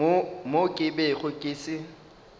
mo ke bego ke se